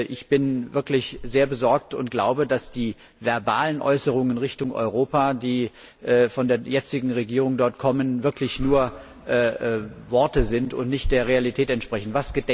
Ich bin wirklich sehr besorgt und glaube, dass die verbalen Äußerungen Richtung Europa, die von der jetzigen Regierung dort kommen, wirklich nur Worte sind und nicht der Realität entsprechen.